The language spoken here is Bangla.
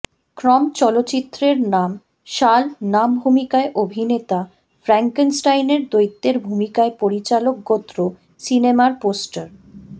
ক্রম চলচ্চিত্রের নাম সাল নামভূমিকায় অভিনেতা ফ্র্যাঙ্কেনস্টাইনের দৈত্যের ভূমিকায় পরিচালক গোত্র সিনেমার পোস্টার